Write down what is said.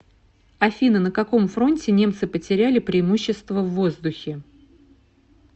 афина на каком фронте немцы потеряли преимущество в воздухе